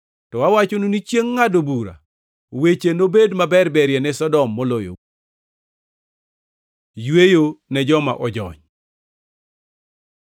To awachonu ni chiengʼ ngʼado bura weche nobed maberber ne Sodom moloyou.” Yweyo ne joma ojony